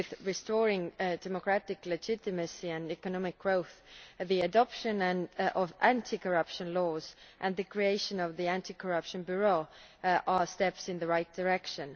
Restoring democratic legitimacy and economic growth, the adoption of anti corruption laws and the creation of the anti corruption bureau are steps in the right direction.